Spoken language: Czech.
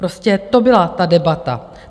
Prostě to byla ta debata.